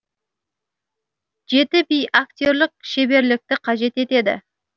жеті би актерлік шеберлікті қажет етеді